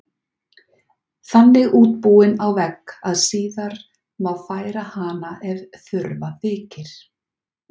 Þannig útbúin á vegg að síðar má færa hana ef þurfa þykir.